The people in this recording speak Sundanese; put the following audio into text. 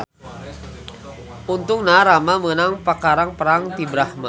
Untungna Rama meunang pakarang perang ti Brahma.